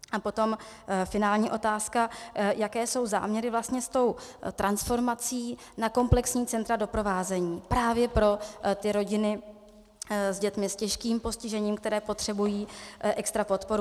A potom finální otázka, jaké jsou záměry vlastně s tou transformací na komplexní centra doprovázení právě pro ty rodiny s dětmi s těžkým postižením, které potřebují extra podporu.